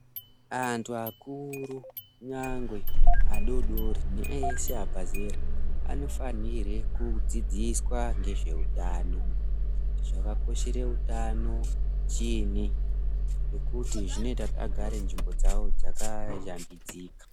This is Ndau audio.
Antu akuru nyangwe adodori neeshe abve zera anofanirwe kudzidziswa ngezveutano, zvakakoshera utano chiinyi nekuti zvinoita agare nzvimbo dzavo dzigare dzakaratidzika.